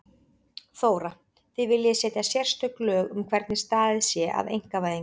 Þóra: Þið viljið setja sérstök lög um hvernig staðið sé að einkavæðingu?